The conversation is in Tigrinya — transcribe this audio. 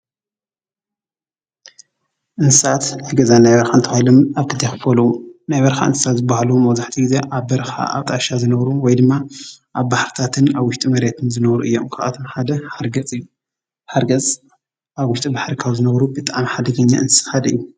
እንስሳት ናይ ገዛን ናይ በረኻን ተባሂሎም አብ ክልተ ይኽፈሉ። ናይ በረኻ እንስሳ ዝበሃሉ መብዛሕቲኡ ግዜ አብ በረኻ አብ ጣሻ ዝነብሩ ወይ ድማ አብ ባሕርታትን አብ ዉሽጢ መሬትን እዮም። ካብኣቶም ሓደ ሓርገፅ እዩ። ሓርገፅ አብ ውሽጢ ባሕሪ ካብ ዝነብሩ ብጣዕሚ ሓደገኛ እንስሳ ሓደ ኣዩ።